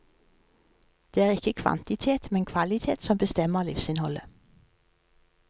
Det er ikke kvantitet, men kvalitet som bestemmer livsinnholdet.